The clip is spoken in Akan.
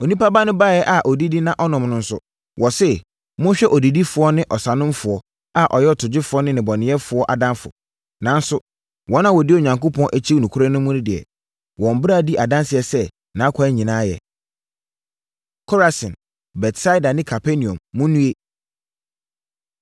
Onipa Ba no baeɛ a ɔdidi na ɔnom no nso, wɔse, ‘Monhwɛ odidifoɔ ne ɔsanomfoɔ a ɔyɛ ɔtogyefoɔ ne nnebɔneyɛfoɔ adamfo!’ Nanso, wɔn a wɔdi Onyankopɔn akyi nokorɛ mu no deɛ, wɔn bra di adanseɛ sɛ, nʼakwan nyinaa yɛ.” Korasin, Betsaida Ne Kapernaum, Monnue!